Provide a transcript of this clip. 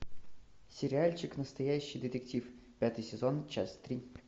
сериальчик настоящий детектив пятый сезон часть три